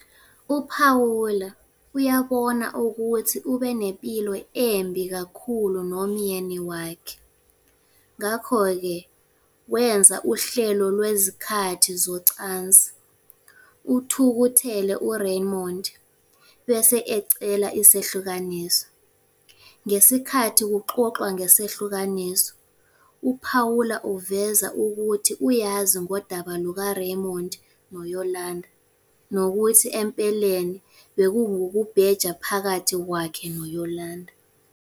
UPaula uyabona ukuthi ubenepilo embi kakhulu nomyeni wakhe, ngakho-ke wenza uhlelo lwezikhathi zocansi, uthukuthele uRaymond bese ecela isehlukaniso. Ngesikhathi kuxoxwa ngesahlukaniso, uPaula uveza ukuthi uyazi ngodaba lukaRaymond noYolanda, nokuthi empeleni bekungukubheja phakathi kwakhe noYolanda.